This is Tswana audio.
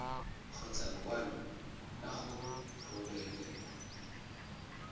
kgotsa lekwalo la go rebolelwa